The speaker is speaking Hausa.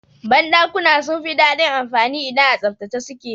Ban dakuna sun fi dadin anfani idan a tsaftace suke.